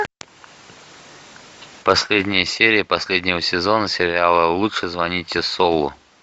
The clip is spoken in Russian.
последняя серия последнего сезона сериала лучше звоните солу